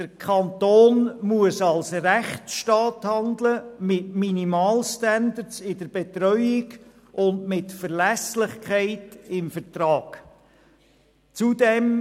Der Kanton muss als Rechtsstaat mit Minimalstandards in der Betreuung und Verlässlichkeit im Vertrag handeln.